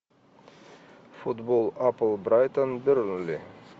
футбол апл брайтон бернли